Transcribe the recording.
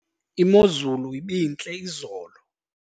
imozulu ibintle izolo